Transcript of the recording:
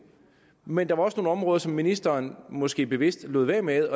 men der var også nogle områder som ministeren måske bevidst lod være med